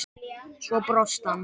Svo brosti hann.